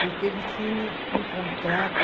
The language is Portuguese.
Porque ele tinha um contrato